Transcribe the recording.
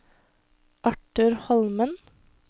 Arthur Holmen